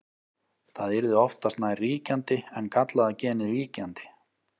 það yrði oftast nær ríkjandi en gallaða genið víkjandi